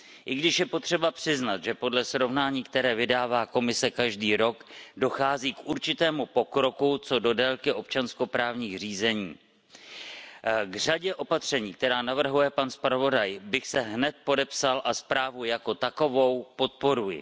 I když je potřeba přiznat, že podle srovnání, které vydává Komise každý rok, dochází k určitému pokroku, co do délky občanskoprávních řízení. K řadě opatření, která navrhuje pan zpravodaj, bych se hned podepsal a zprávu jako takovou podporuji.